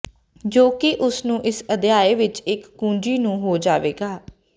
ਜੋ ਕਿ ਉਸ ਨੂੰ ਇਸ ਅਧਿਆਇ ਵਿੱਚ ਇੱਕ ਕੁੰਜੀ ਨੂੰ ਹੋ ਜਾਵੇਗਾ